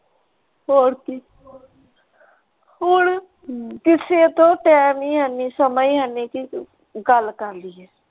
ਹੋਰ ਕੀ ਹੁਣ ਕਿਸੇ ਕੋਲ ਟਾਈਮ ਈ ਹੈ ਨਹੀਂ ਸਮਾਂ ਈ ਹੈ ਨਹੀਂ ਗੱਲ ਕਰ ਲਿਏ।